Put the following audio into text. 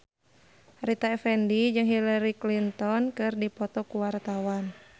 Rita Effendy jeung Hillary Clinton keur dipoto ku wartawan